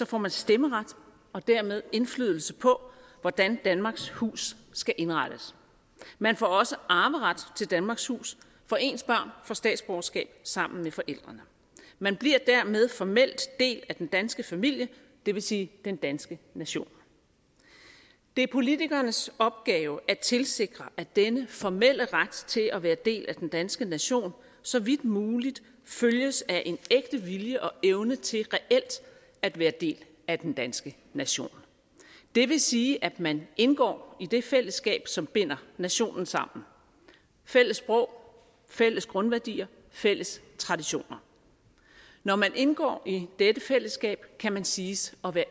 får man stemmeret og dermed indflydelse på hvordan danmarks hus skal indrettes man får også arveret til danmarks hus for ens børn får statsborgerskab sammen med forældrene man bliver dermed formelt del af den danske familie det vil sige den danske nation det er politikernes opgave at tilsikre at denne formelle ret til at være del af den danske nation så vidt muligt følges af en ægte vilje og evne til reelt at være del af den danske nation det vil sige at man indgår i det fællesskab som binder nationen sammen fælles sprog fælles grundværdier fælles traditioner når man indgår i dette fællesskab kan man siges at være